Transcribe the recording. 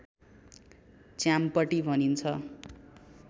च्याम्पटी भनिन्छ